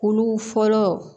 Olu fɔlɔ